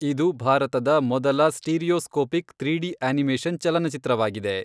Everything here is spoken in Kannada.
ಇದು ಭಾರತದ ಮೊದಲ ಸ್ಟೀರಿಯೋಸ್ಕೋಪಿಕ್ ತ್ರೀಡಿ ಅನಿಮೇಷನ್ ಚಲನಚಿತ್ರವಾಗಿದೆ.